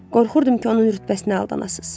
Qorxurdum ki, onun rütbəsinə aldanasız.